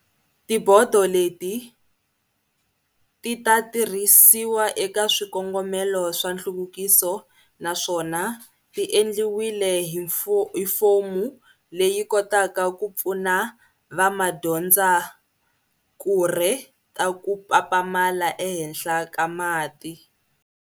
Tibodo leti ti ta tirhisi wa eka swikongomelo swa nhluvukiso naswona ti endliwile hi fomu leyi kotaka ku pfuna vamadyondzakurhe ta ku papamala ehenhla ka mati.